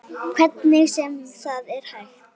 Hvernig sem það er hægt.